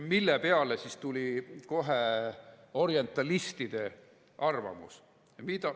Selle peale tuli kohe orientalistide arvamus.